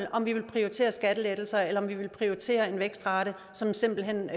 om vi vil prioritere skattelettelser eller om vi vil prioritere en vækstrate som simpelt hen